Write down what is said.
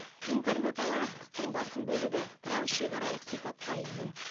интернет алаяқтықтың басым бөлігі трансшекаралық сипатқа ие